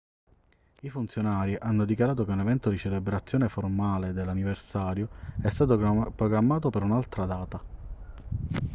i funzionari hanno dichiarato che un evento di celebrazione formale dell'anniversario è stato programmato per un'altra data